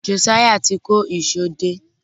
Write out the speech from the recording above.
Josiah tí kò Èṣó dé